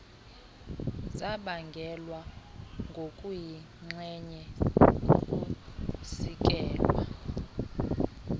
zabangelwa ngokuyinxenye kukusikelwa